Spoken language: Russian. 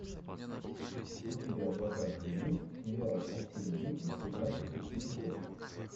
у тебя в запасе есть сериал отцы и дети пятнадцатый эпизод